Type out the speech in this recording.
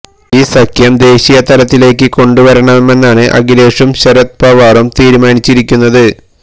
ഈ സഖ്യം ദേശീയ തലത്തിലേക്ക് കൊണ്ടുവരണമെന്നാണ് അഖിലേഷും ശരത് പവാറും തീരുമാനിച്ചിരിക്കുന്നത്